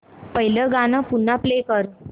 पहिलं गाणं पुन्हा प्ले कर